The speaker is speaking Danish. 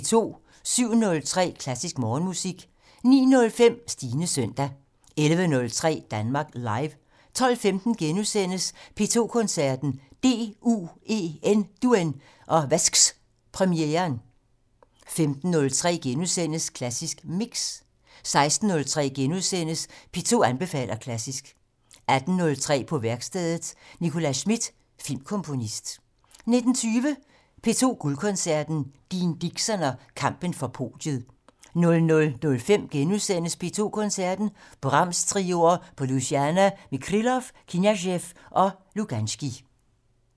07:03: Klassisk Morgenmusik 09:05: Stines søndag 11:03: Danmark Live 12:15: P2 Koncerten - DUEN og Vasks-premieren * 15:03: Klassisk Mix * 16:03: P2 anbefaler klassisk * 18:03: På værkstedet - Nicklas Schmidt, filmkomponist 19:20: P2 Guldkoncerten - Dean Dixon og kampen for podiet 00:05: P2 Koncerten - Brahms-trioer på Louisiana med Krylov, Kniazev og Luganskij *